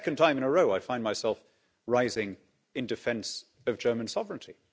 For the second time in a row I find myself rising in defence of German sovereignty.